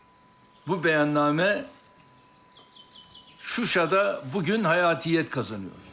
bu bəyannamə Şuşada bu gün həyatiyyət qazanır.